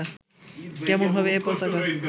কেমন হবে এ পতাকা